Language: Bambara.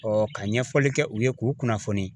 ka ɲɛfɔli kɛ u ye k'u kunnafoni